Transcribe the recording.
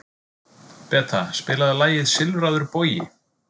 Beta, spilaðu lagið „Silfraður bogi“.